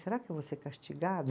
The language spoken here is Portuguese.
Será que eu vou ser castigada?